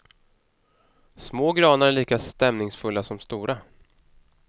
Små granar är lika stämningsfulla som stora.